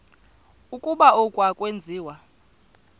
ukuba oku akwenziwa